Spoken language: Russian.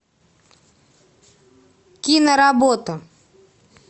киноработа